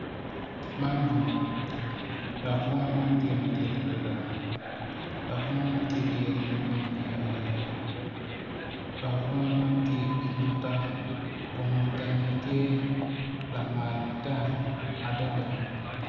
Man bunga dok bunga man tye madit adada dok bunga man tye ki yadi madwong iye adada dok bunga man tye i nota kun tenge ti lamal matek adada